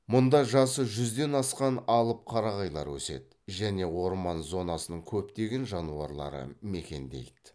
мұнда жасы жүзден асқан алып қарағайлар өседі және орман зонасының көптеген жануарлары мекендейді